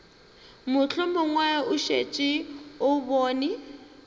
mohlomong o šetše o bone